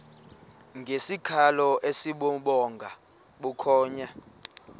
ngesikhalo esibubhonga bukhonya